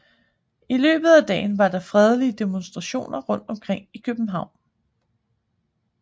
I løbet af dagen var der fredelige demonstrationer rundt omkring i København